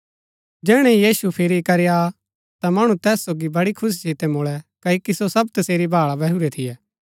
जैहणै यीशु फिरी करी आ ता मणु तैस सोगी वड़ी खुशी सितै मुळै क्ओकि सो सब तसेरी भाळा बैहुरै थियै